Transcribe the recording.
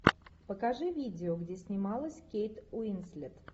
покажи видео где снималась кейт уинслет